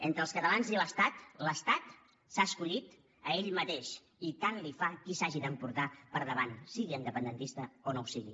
entre els catalans i l’estat l’estat s’ha escollit a ell mateix i tant li fa qui s’hagi d’emportar per davant sigui independentista o no ho sigui